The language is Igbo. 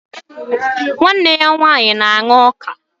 Nwanne ya nwanyi na-aṅa ọka.